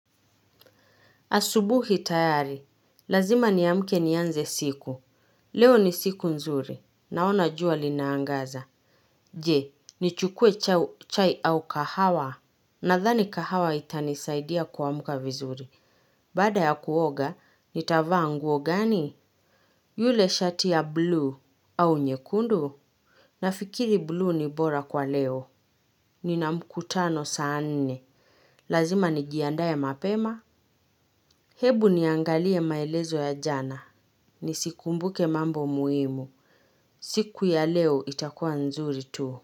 Asubuhi tayari. Lazima niamke nianze siku. Leo ni siku nzuri. Naona jua lina angaza. Je, nichukue chai au kahawa? Nadhani kahawa itanisaidia kuamka vizuri. Baada ya kuoga, nitavaa nguo gani? Yule shati ya bluu au nyekundu? Nafikiri bluu ni bora kwa leo. Nina mkutano saa nne. Lazima nijiandae mapema. Hebu niangalie maelezo ya jana. Nisikumbuke mambo muhimu. Siku ya leo itakuwa nzuri tu.